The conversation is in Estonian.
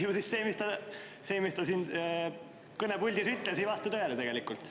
Ju siis see, mis ta siin kõnepuldis ütles, ei vasta tõele tegelikult.